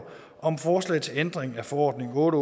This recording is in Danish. om forslag til ændring af forordning otte